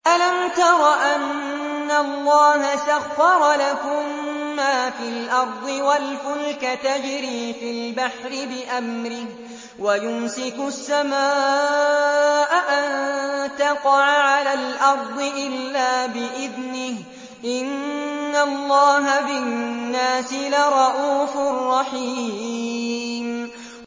أَلَمْ تَرَ أَنَّ اللَّهَ سَخَّرَ لَكُم مَّا فِي الْأَرْضِ وَالْفُلْكَ تَجْرِي فِي الْبَحْرِ بِأَمْرِهِ وَيُمْسِكُ السَّمَاءَ أَن تَقَعَ عَلَى الْأَرْضِ إِلَّا بِإِذْنِهِ ۗ إِنَّ اللَّهَ بِالنَّاسِ لَرَءُوفٌ رَّحِيمٌ